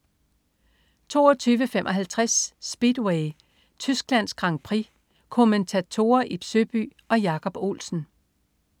22.55 Speedway: Tysklands Grand Prix. Kommentatorer: Ib Søby og Jacob Olsen